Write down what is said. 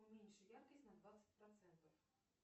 уменьши яркость на двадцать процентов